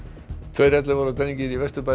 tveir ellefu ára drengir í Vesturbæ